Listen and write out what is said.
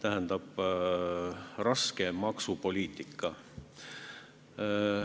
Esiteks, keeruline maksupoliitika.